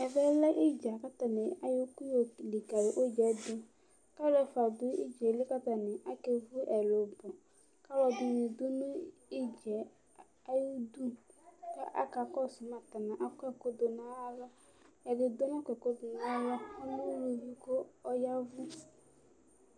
Ɛvɛlɛ idza kʋ ayɔ ɛkʋ yɔlikali idza yɛdʋ kʋ alʋ ɛfʋa dʋ idza yɛli kʋ akevʋ ɛlʋbɔ kʋ alʋɛdini dʋ idza yɛ ayʋ idʋ kʋ aka kɔsʋ ma atani akɔ ɛkʋdʋ nʋ alɔ kʋ ɛdidʋ nakɔ ɛkʋ dʋnʋ alɔ ʋlʋvi ɔlɛ ʋlʋvi kʋ ɔya ɛvʋ